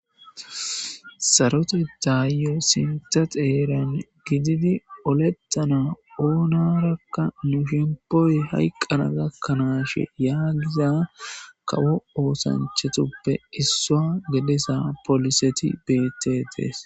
sarote daayyo sinta xeeran gididi olettana oonarakka nu shempooy hayqqana gakkanaashe yaagiza kawo oosanchatuppe issaa gedesa poliseti betetees